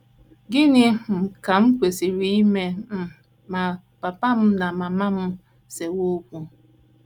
Gịnị um Ka M Kwesịrị Ime um Ma Papa M na Mama M Sewe Okwu?